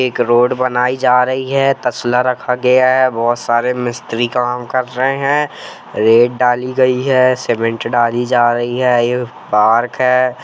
एक रोड बनायीं जा रही है तसला रखा गया है बहुत सारे मिस्त्री काम कर रहे है रेत डाली गई है सीमेंट डाली जा रही है यह पार्क है।